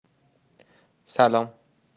салам